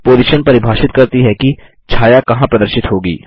position परिभाषित करती है कि छाया कहाँ प्रदर्शित होगी